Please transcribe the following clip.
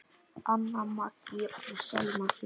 Anna Maggý og Selma Sigrún.